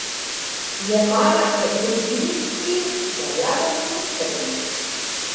Jemala je pridnim in dajala luftarjem.